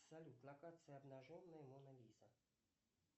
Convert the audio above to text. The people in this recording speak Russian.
салют на карте обнаженная мона лиза